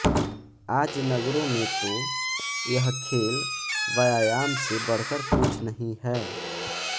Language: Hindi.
आज नगरों में तो यह खेल व्यायाम से बढ़कर कुछ नहीं है